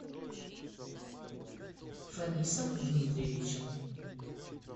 фанисом дмитриевичем